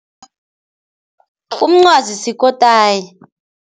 Umncwazi sikotayi.